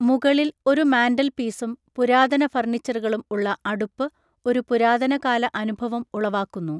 മുകളിൽ ഒരു മാൻ്റൽപീസും പുരാതന ഫർണിച്ചറുകളും ഉള്ള അടുപ്പ് ഒരു പുരാതന കാല അനുഭവം ഉളവാക്കുന്നു.